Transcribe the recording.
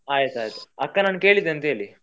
ಆಯ್ತ್ ಆಯ್ತು ಅಕ್ಕನನ್ನು ಕೇಳಿದ್ದೆ ಅಂತ ಹೇಳಿ.